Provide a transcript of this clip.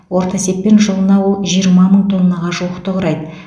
орта есеппен жылына ол жиырма мың тоннаға жуықты құрайды